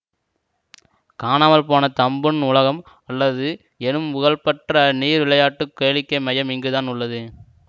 காணாமல் போன தம்பூன் உலகம் அல்லது எனும் புகழ்பெற்ற நீர் விளையாட்டு கேளிக்கை மையம் இங்குதான் உள்ளது